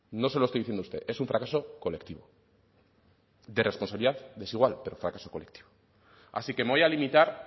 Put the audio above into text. no se lo estoy diciendo a usted es un fracaso colectivo de responsabilidad desigual pero fracaso colectivo así que me voy a limitar